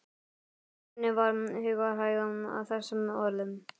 Marteini varð hugarhægð að þessum orðum.